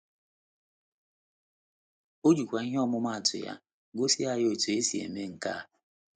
O jikwa ihe ọmụmaatụ ya gosi anyị otú e si eme nke a.